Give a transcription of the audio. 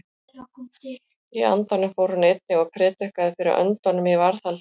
Í andanum fór hann einnig og prédikaði fyrir öndunum í varðhaldi.